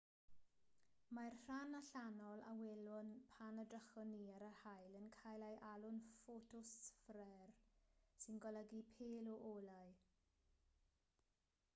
mae'r rhan allanol a welwn pan edrychwn ni ar yr haul yn cael ei alw'n ffotosffer sy'n golygu pêl o olau